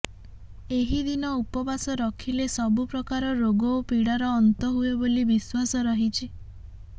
ଏହି ଦିନ ଉପବାସ ରଖିଲେ ସବୁ ପ୍ରକାର ରୋଗ ଓ ପିଡ଼ାର ଅନ୍ତ ହୁଏ ବୋଲି ବିଶ୍ୱାସ ରହିଛି